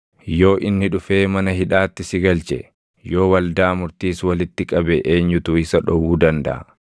“Yoo inni dhufee mana hidhaatti si galche, yoo waldaa murtiis walitti qabe eenyutu isa dhowwuu dandaʼa?